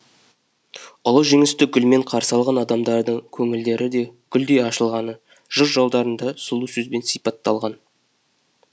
ұлы жеңісті гүлмен қарсы алған адамдардың көңілдері де гүлдей ашылғаны жыр жолдарында сұлу сөзбен сипатталған